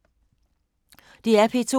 DR P2